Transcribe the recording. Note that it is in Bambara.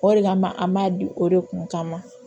O de kama an b'a di o de kun kama